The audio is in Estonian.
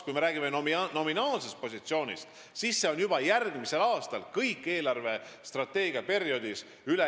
Kui me räägime nominaalsest positsioonist, siis see on juba järgmisel aastal ülejäägis ja see jääb nii kogu eelarvestrateegia perioodi jooksul.